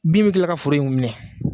Bin bɛ kila ka foro in minɛ.